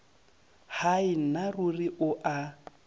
hai nna ruri o a